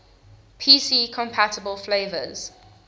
pc compatible flavors